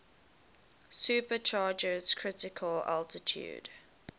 supercharger's critical altitude